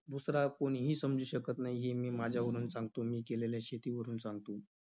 दुसरा कोणीही समजू शकत नाही, हे मी माझ्यावरून सांगतो, मी केलेल्या शेतीवरून सांगतो.